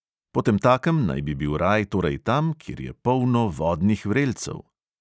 Potemtakem naj bi bil raj torej tam, kjer je polno vodnih vrelcev.